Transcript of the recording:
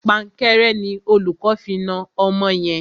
Pankẹ́rẹ́ ni olùkó fi na ọmọ yẹn.